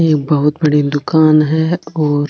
एक बहुत बड़ी दुकान है और --